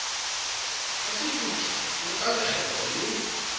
kasefuthu le ka lekgetlo le